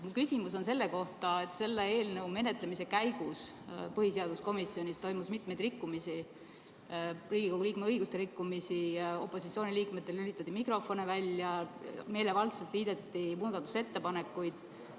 Mu küsimus on selle kohta, et selle eelnõu menetlemise käigus põhiseaduskomisjonis toimus mitmeid rikkumisi, Riigikogu liikme õiguste rikkumisi: opositsiooniliikmetel lülitati mikrofone välja, meelevaldselt liideti muudatusettepanekuid.